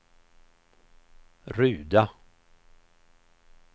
Ruda